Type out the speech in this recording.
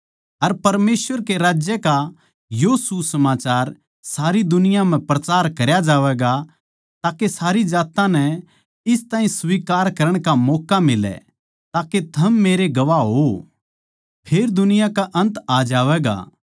अर परमेसवर के राज्य का यो सुसमाचार सारी दुनिया म्ह प्रचार करया जावैगा ताके सारी जात्तां इस ताहीं स्वीकार करण का मौक्का मिलै ताके थम मेरे गवाह होवै फेर दुनिया का अन्त आ जावैगा